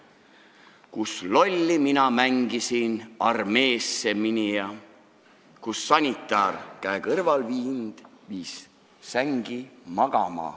Kus lolli mina mängisin, armeesse mineja, kus sanitar käe kõrval mind viis sängi magama.